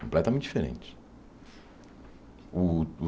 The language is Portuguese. Completamente diferente. O o